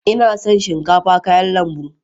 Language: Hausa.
Ina son shinkafa kayan lambu